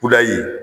Kudayi